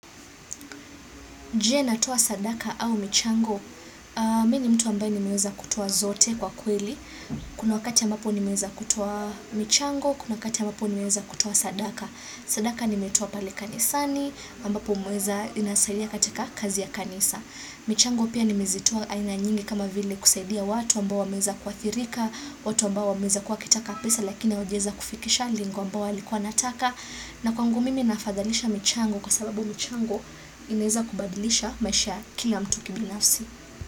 Je natoa sadaka au michango, mimi ni mtu ambaye nimeweza kutoa zote kwa kweli. Kuna wakati ambapo nimeweza kutoa michango, kuna wakati ambapo nimeweza kutoa sadaka. Sadaka nimetoa pale kanisani, ambapo mweza inasaidia katika kazi ya kanisa. Michango pia nimeweza kutoa aina nyingi kama vile kusaidia watu ambao wameza kuathirika, watu ambao wameza kuwa kutaka pesa lakina hawajaweza kufikisha lengo ambao walikuwa wanataka. Na kwangu mimi nafadhalisha michango kwa sababu michango inaweza kubadilisha maisha kila mtu kibinafsi.